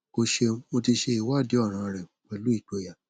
o ṣeun mo ti ṣe iwadi ọran rẹ pẹlu igboya